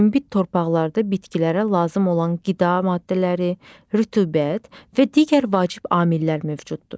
Münbit torpaqlarda bitkilərə lazım olan qida maddələri, rütubət və digər vacib amillər mövcuddur.